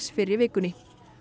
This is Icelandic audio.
fyrr í vikunni